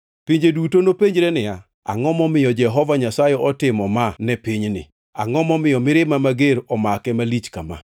Pinje duto nopenjre niya, “Angʼo momiyo Jehova Nyasaye otimo ma ne pinyni? Angʼo momiyo mirima mager omake malich kama?”